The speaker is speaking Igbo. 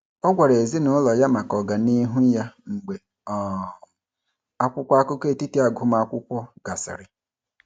Ọ gwara ezinaụlọ ya maka ọganihu ya mgbe um akwụkwọ akụkọ etiti agụmakwụkwọ gasịrị.